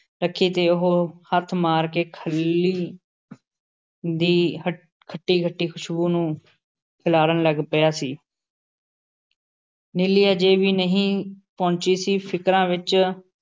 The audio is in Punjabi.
ਰੱਖੀ ਤੇ ਉਹ ਹੱਥ ਮਾਰ ਕੇ ਖਲ਼ੀ ਦੀ ਹੱ ਖੱਟੀ-ਖੱਟੀ ਖ਼ੁਸ਼ਬੂ ਨੂੰ ਖਿਲਾਰਨ ਲੱਗ ਪਿਆ ਸੀ। ਨੀਲੀ ਅਜੇ ਵੀ ਨਹੀਂ ਪਹੁੰਚੀ ਸੀ । ਫ਼ਿਕਰਾਂ ਵਿੱਚ